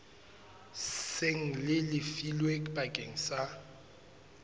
seng le lefilwe bakeng sa